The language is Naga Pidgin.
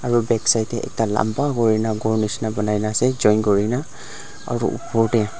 etu backside ekta lamba kori na gor misna choin kori kena aru upor teh.